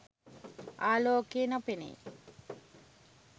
ආලෝකය නො පෙනෙයි.